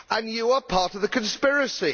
You are part of the conspiracy.